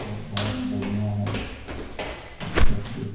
और बोहोत बढ़ियां है ठट्टर ये।